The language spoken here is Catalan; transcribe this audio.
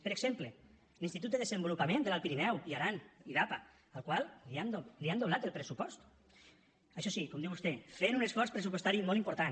per exemple l’institut de desenvolupament de l’alt pirineu i aran idapa al qual li han doblat el pressupost això sí com diu vostè fent un esforç pressupostari molt important